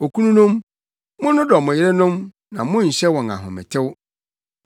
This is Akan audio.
Okununom, monnodɔ mo yerenom na monnhyɛ wɔn ahometew.